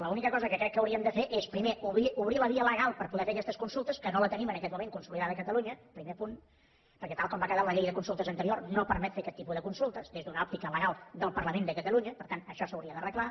l’única cosa que crec que hauríem de fer és primer obrir la via legal per poder fer aquestes consultes que no la tenim en aquest moment consolidada a catalunya primer punt perquè tal com va quedar la llei de consultes anterior no permet fer aquest tipus de consultes des d’una òptica legal del parlament de catalunya per tant això s’hauria d’arreglar